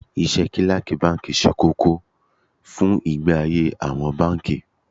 Iṣẹ́ Kílákì báńkì ṣe kókó fún ìgbé ayé àwọn báńkì.